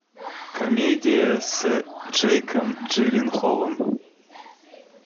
комедия с джейком джилленхолом